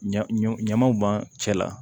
Ɲ ɲɔ ɲamanw bɔn cɛ la